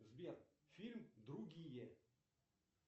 сбер фильм другие